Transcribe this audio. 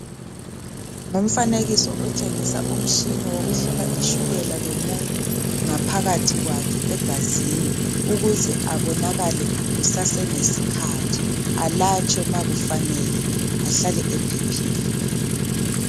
Ngumtshina wokuhlola ishukela lomuntu phakathi kwakhe egazini ukuze abonakale kusaselesikhathi alatshwe nxa kufanele ahlale ephephile